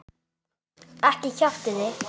Ekki kjaftið þið.